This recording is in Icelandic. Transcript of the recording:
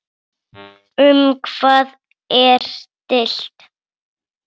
Um hvað er deilt?